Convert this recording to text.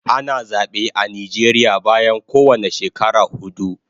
Ana zabe a Nijeria bayan kowane shekara hudu